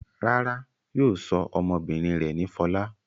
Rárá, yóò sọ ọmọbìnrin rẹ̀ ní Fọlá.